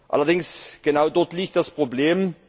allerdings, und genau dort liegt das Problem